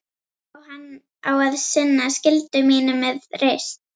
Á að sinna skyldu mínum með reisn.